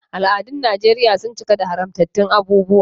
Al’adun Najeriya sun cika da haramtattun abubuwa.